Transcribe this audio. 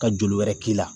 Ka joli wɛrɛ k'i la